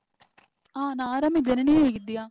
ಆ ನಾ ಆರಾಮ್ ಇದ್ದೇನೆ. ನೀ ಹೇಗಿದ್ದೀಯಾ?